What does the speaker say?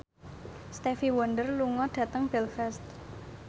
Stevie Wonder lunga dhateng Belfast